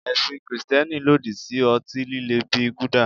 Ẹ̀sìn Kristẹni lòdì sí ọtí líle bíi gulder.